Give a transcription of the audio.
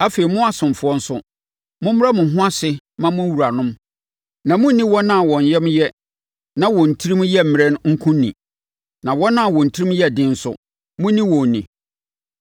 Afie mu asomfoɔ nso, mommrɛ mo ho ase mma mo wuranom, na monnni wɔn a wɔn yam yɛ na wɔn tirim yɛ mmrɛ nko ni, na wɔn a wɔn tirim yɛ den nso, monni wɔn ni.